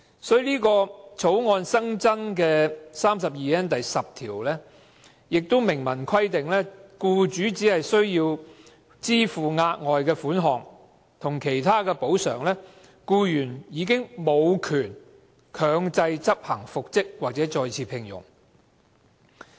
《條例草案》新增的第 32N 條明文規定，僱主只須支付額外款項及其他補償，僱員便無權強制執行復職或再次聘用令。